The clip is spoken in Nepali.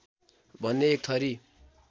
भन्ने एक थरी